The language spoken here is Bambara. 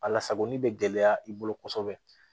A lasagoli be gɛlɛya i bolo kosɛbɛ